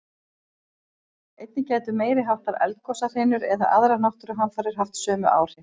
Einnig gætu meiri háttar eldgosahrinur eða aðrar náttúruhamfarir haft sömu áhrif.